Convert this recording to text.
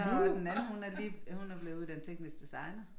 Og den anden hun er lige hun er blevet uddannet teknisk designer